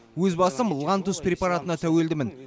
өз басым лантус препаратына тәуелдімін